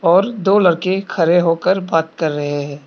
और दो लड़के खड़े होकर बात कर रहे हैं।